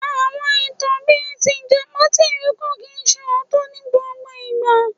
Àwọn ìtàn bíi tìjàpá tìrókò kìí ṣe òótọ́ ní gbogbo ìgbà.